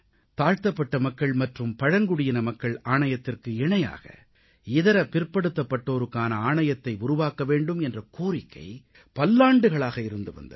தாழ்த்தப்பட்ட மக்கள் மற்றும் பழங்குடியின மக்கள் ஆணையத்திற்கு இணையாக இதர பிற்படுத்தப்பட்டோருக்கான ஆணையத்தை உருவாக்க வேண்டும் என்ற கோரிக்கை பல்லாண்டுகளாக இருந்து வந்தது